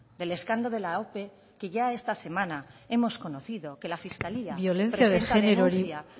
del escándalo de la ope que ya esta semana hemos conocido que la genero biolentziari